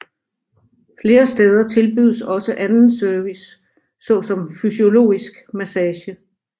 Flere steder tilbydes også anden service såsom fysiologisk massage